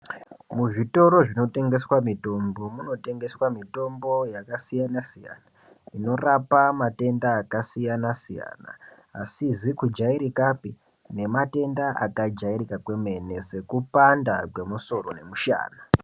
Muzvitoro zvinotengeswa mitombo, munotengeswa mitombo yakasiyana siyana inorapa matenda akasiyana siyana, asizi kujairikapi nematenda akajairika kwemene sekupanda kwemusoro nemushana.